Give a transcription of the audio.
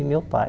E meu pai.